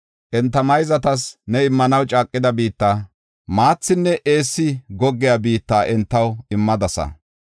Enta mayzatas ne immanaw caaqida biitta, maathinne eessi goggiya biitta entaw immadasa.